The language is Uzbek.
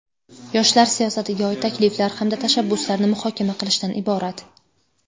yoshlar siyosatiga oid takliflar hamda tashabbuslarni muhokama qilishdan iborat.